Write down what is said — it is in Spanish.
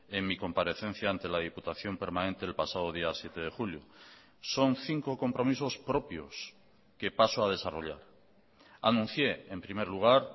en mi comparecencia ante la diputación permanente el pasado día siete de julio son cinco compromisos propios que paso a desarrollar anuncié en primer lugar